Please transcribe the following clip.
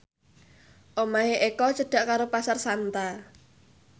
omahe Eko cedhak karo Pasar Santa